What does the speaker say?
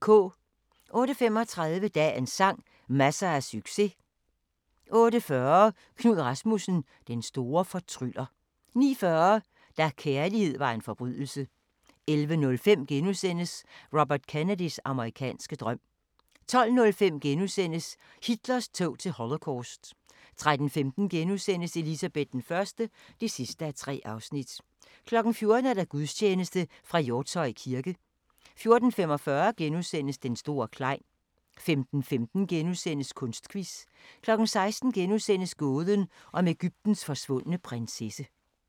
08:35: Dagens sang: Masser af succes 08:40: Knud Rasmussen – den store fortryller 09:40: Da kærlighed var en forbrydelse 11:05: Robert Kennedys amerikanske drøm * 12:05: Hitlers tog til Holocaust * 13:15: Elizabeth I (3:3)* 14:00: Gudstjeneste fra Hjortshøj kirke 14:45: Den store Klein * 15:15: Kunstquiz * 16:00: Gåden om Egyptens forsvundne prinsesse *